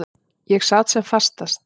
Ég sat sem fastast.